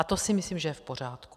A to si myslím, že je v pořádku.